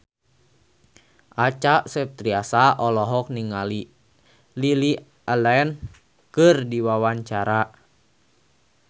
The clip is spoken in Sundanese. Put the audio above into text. Acha Septriasa olohok ningali Lily Allen keur diwawancara